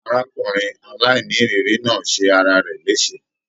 Arákùnrin aláìníiriri náà ṣe ará rẹ lese.